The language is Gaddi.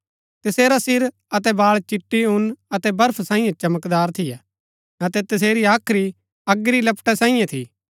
तसेरा सिर अतै बाळ चिटी ऊन अतै बर्फ सांईये चमकदार थियै अतै तसेरी हाख्री अगी री लपटा सैईयें थी